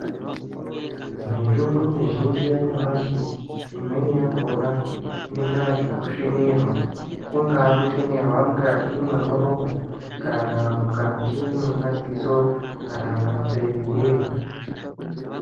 Mitombo mizhinji yanyamashi imweni yakhona inoita zvekusvinirwa kungaa kusvinirwa mukati mwemuromo kana mukati mwemadziso kana munzeye.